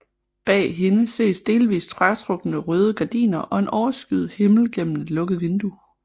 Bag hende ses delvist fratrukne røde gardiner og en overskyet himmel gennem et lukket vindue